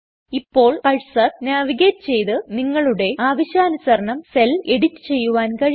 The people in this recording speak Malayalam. ഇപ്പോൾ കഴ്സർ നാവിഗേറ്റ് ചെയ്ത്നിങ്ങളുടെ ആവശ്യാനുസരണം സെൽ എഡിറ്റ് ചെയ്യുവാൻ കഴിയും